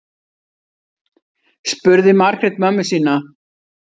spurði margrét mömmu sína